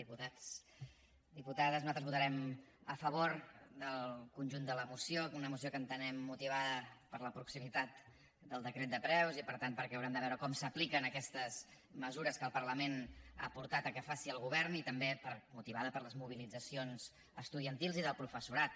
diputats diputades nosaltres votarem a favor del conjunt de la moció una moció que entenem motivada per la proximitat del decret de preus i per tant haurem de veure com s’apliquen aquestes mesures que el parlament ha portat a que faci el govern i també motivada per les mobilitzacions estudiantils i del professorat